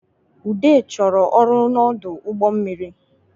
Ude chọrọ ọrụ n’ọdụ ụgbọ mmiri